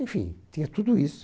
Enfim, tinha tudo isso.